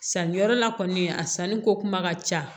Sanniyɔrɔ la kɔni a sanni ko kuma ka ca